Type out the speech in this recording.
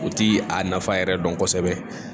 U ti a nafa yɛrɛ dɔn kosɛbɛ